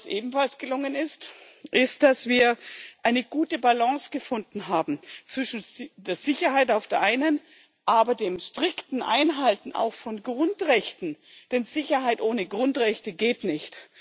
Ebenfalls gelungen ist, dass wir eine gute Balance gefunden haben zwischen der Sicherheit auf der einen Seite, aber auch dem strikten Einhalten von Grundrechten, denn Sicherheit ohne Grundrechte geht nicht.